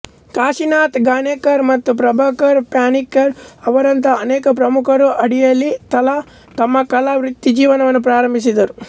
ಕಾಶಿನಾಥ್ ಘಾನೇಕರ್ ಮತ್ತು ಪ್ರಭಾಕರ್ ಪನ್ಶಿಕರ್ ಅವರಂತಹ ಅನೇಕ ಪ್ರಮುಖರ ಅಡಿಯಲ್ಲಿ ತಮ್ಮ ಕಲಾ ವೃತ್ತಿಜೀವನವನ್ನು ಪ್ರಾರಂಭಿಸಿದರು